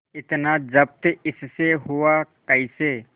इतना जब्त इससे हुआ कैसे